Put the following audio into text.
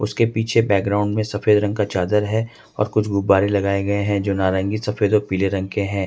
उसके पीछे बैकग्राउंड में सफेद रंग का चादर है और कुछ गुब्बारे लगाए गए हैं जो नारंगी सफेद जो पीले रंग के हैं।